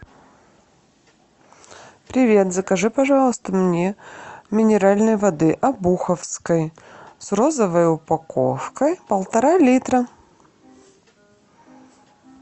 привет закажи пожалуйста мне минеральной воды обуховской с розовой упаковкой полтора литра